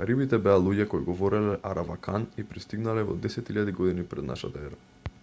карибите беа луѓе кои говореле аравакан и пристигнале во 10 000 г п.н.е